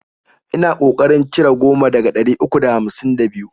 Ina ko karin cire goma daga ɗari uku da hamsin da biyu